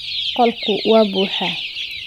Qolku waa buuxaa.